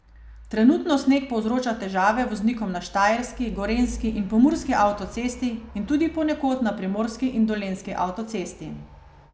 Trenutno sneg povzroča težave voznikom na štajerski, gorenjski in pomurski avtocesti in tudi ponekod na primorski in dolenjski avtocesti.